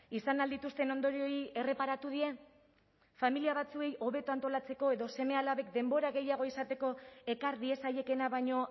izan ahal dituzten ondorioei erreparatu die familia batzuei hobeto antolatzeko edo seme alabek denbora gehiago izateko ekar diezaiekeena baino